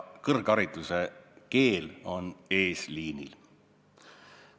Kõrghariduse keel on siin eesliinil.